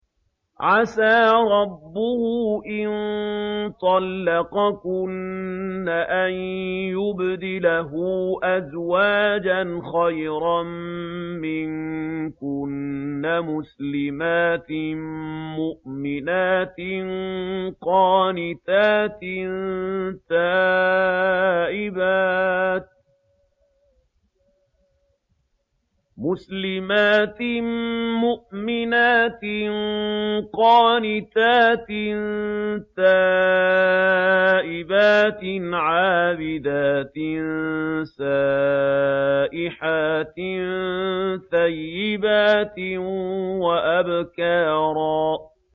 عَسَىٰ رَبُّهُ إِن طَلَّقَكُنَّ أَن يُبْدِلَهُ أَزْوَاجًا خَيْرًا مِّنكُنَّ مُسْلِمَاتٍ مُّؤْمِنَاتٍ قَانِتَاتٍ تَائِبَاتٍ عَابِدَاتٍ سَائِحَاتٍ ثَيِّبَاتٍ وَأَبْكَارًا